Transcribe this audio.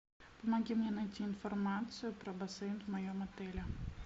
помоги мне найти информацию про бассейн в моем отеле